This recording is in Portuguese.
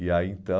E aí, então...